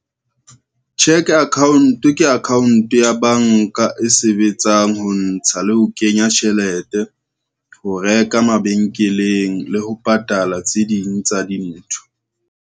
Cheque account, ke account ya banka e sebetsang ho ntsha le ho kenya tjhelete, ho reka mabenkeleng le ho patala tse ding tsa dintho.